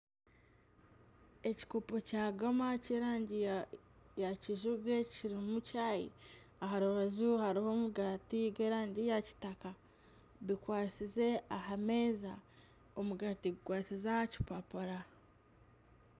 Ekikopo kya gama ky'erangi ya kijubwe kirimu chayi. Aha rubaju hariho omugati gw'erangi ya kitaka bikwasize aha meeza. Omugaati gukwasize aha kipapura.